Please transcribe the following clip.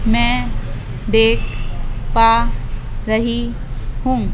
मैं देख पा रही हूं।